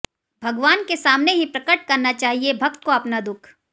भगवान के सामने ही प्रकट करना चाहिए भक्त को अपना दुख